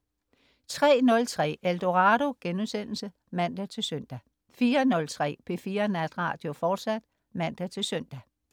03.03 Eldorado* (man-søn) 04.03 P4 Natradio, fortsat (man-søn)